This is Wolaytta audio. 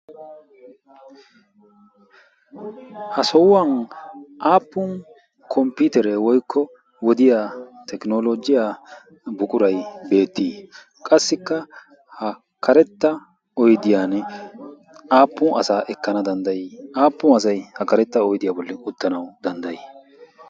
ha sohuwan aappun komppitere woikko wodiya tekinologiyaa buqurai beettii? qassikka ha karetta oidiyan aappun asaa ekkana danddayii? aappun asai ha karetta oidiyaa bolli uttanau danddayii?